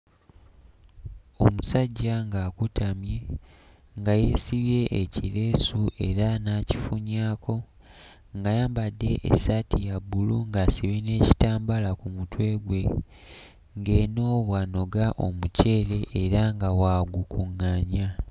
Omusajja ng'akutamye nga yeesibye ekireesu era n'akifunyaako ng'ayambadde essaati ya bbulu ng'asibye n'ekitambaala ku mutwe gwe, ng'eno bw'anoga omuceere era nga bw'agukuŋŋaanya.